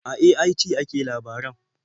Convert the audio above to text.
A AIT ake labaran.